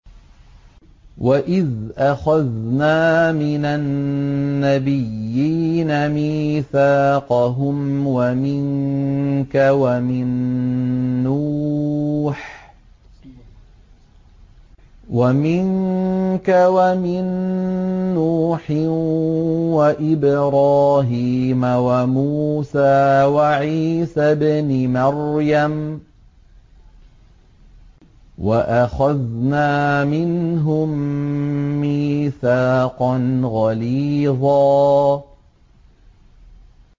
وَإِذْ أَخَذْنَا مِنَ النَّبِيِّينَ مِيثَاقَهُمْ وَمِنكَ وَمِن نُّوحٍ وَإِبْرَاهِيمَ وَمُوسَىٰ وَعِيسَى ابْنِ مَرْيَمَ ۖ وَأَخَذْنَا مِنْهُم مِّيثَاقًا غَلِيظًا